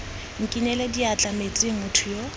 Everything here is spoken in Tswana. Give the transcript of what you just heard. nkinele diatla metsing motho yo